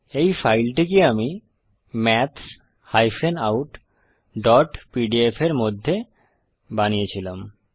এই ফাইলটিকে আমি maths outpdf এর মধ্যে বানিয়ে ছিলাম